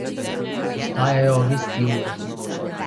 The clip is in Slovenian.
Vstajajo ob isti uri.